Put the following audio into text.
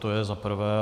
To je za prvé.